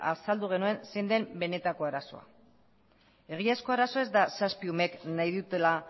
azaldu genuen zein den benetako arazoa egiazko arazoa ez da zazpi umeek nahi dutela